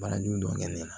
Baara jugu dɔ kɛ ne la